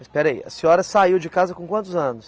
Espera aí, a senhora saiu de casa com quantos anos?